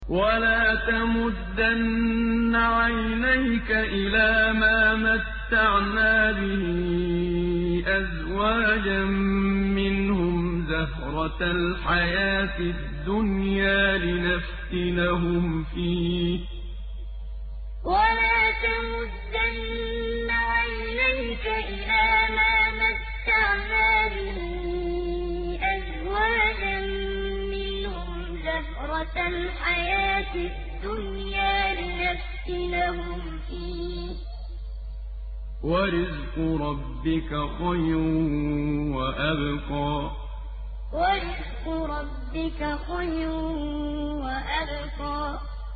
وَلَا تَمُدَّنَّ عَيْنَيْكَ إِلَىٰ مَا مَتَّعْنَا بِهِ أَزْوَاجًا مِّنْهُمْ زَهْرَةَ الْحَيَاةِ الدُّنْيَا لِنَفْتِنَهُمْ فِيهِ ۚ وَرِزْقُ رَبِّكَ خَيْرٌ وَأَبْقَىٰ وَلَا تَمُدَّنَّ عَيْنَيْكَ إِلَىٰ مَا مَتَّعْنَا بِهِ أَزْوَاجًا مِّنْهُمْ زَهْرَةَ الْحَيَاةِ الدُّنْيَا لِنَفْتِنَهُمْ فِيهِ ۚ وَرِزْقُ رَبِّكَ خَيْرٌ وَأَبْقَىٰ